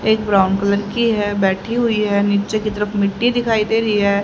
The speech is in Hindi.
एक ब्राउन कलर की है बैठी हुई है नीचे की तरफ मिट्टी दिखाई दे रही है।